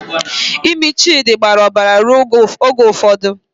Imi Chidi gbara obara ruo oge ụfọdụ.